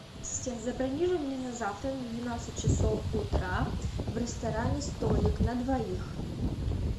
ассистент забронируй мне на завтра на двенадцать часов утра в ресторане столик на двоих